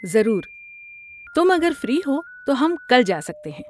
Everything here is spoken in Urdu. ضرور، تم اگر فری ہو تو ہم کل جا سکتے ہیں۔